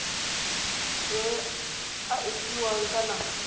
a e fiwang ka nako